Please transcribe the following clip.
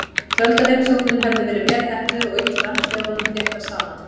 Þeir töldu að heimsóknin hefði verið vel heppnuð og ýtt frændþjóðunum þéttar saman.